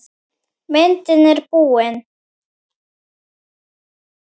Myndin er búin.